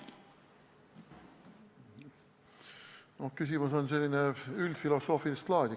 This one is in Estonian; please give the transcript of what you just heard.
No küsimus on selline üldfilosoofilist laadi.